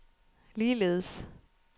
ligeledes